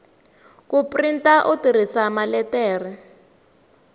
ku printa u tirhisa maletere